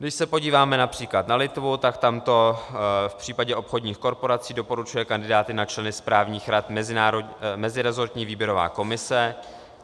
Když se podíváme například na Litvu, tak tam v případě obchodních korporací doporučuje kandidáty na členy správních rad mezirezortní výběrová komise.